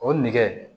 O nɛgɛ